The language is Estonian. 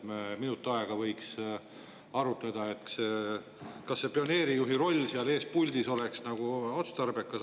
Me võiks minut aega arutada, kas see pioneerijuhi roll seal ees puldis on otstarbekas.